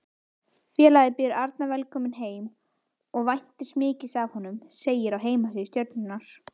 Félagið býður Arnar velkominn heim og væntir mikils af honum, segir á heimasíðu Stjörnunnar.